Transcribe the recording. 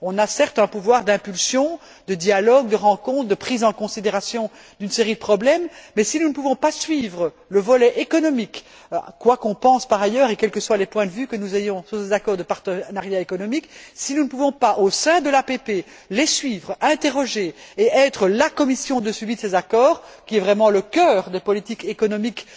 Nous avons certes un pouvoir d'impulsion, de dialogue, de rencontre, de prise en considération d'une série de problèmes, mais si nous ne pouvons pas suivre le volet économique, quoi qu'on pense par ailleurs et quels que soient les points de vue que nous ayons sur les accords de partenariat économique, si nous ne pouvons pas, au sein de l'APP les suivre, interroger et être la commission de suivi de ces accords, qui constituent vraiment le cœur des politiques économiques